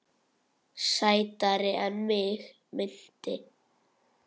Sætari en mig minnti.